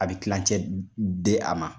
A bɛ kicɛ di a ma